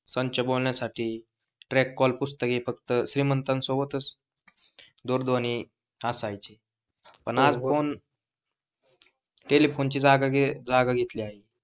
संच बोलण्यासाठी, track call पुस्तके फक्त श्रीमंत सोबतच दूरध्वनी असायचे पण आता टेलीफोन ची जागा घेतली आहे.